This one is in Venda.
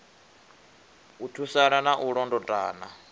u thusana na u londotana